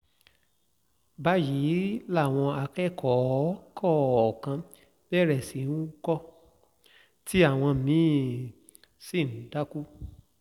báyìí làwọn akẹ́kọ̀ọ́ kọ̀ọ̀kan bẹ̀rẹ̀ sí í hùkọ̀ tí àwọn mí-ín sì dákú